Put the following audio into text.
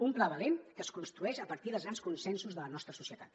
un pla valent que es construeix a partir dels grans consensos de la nostra societat